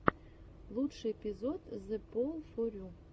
лучший эпизод зэпоулфорю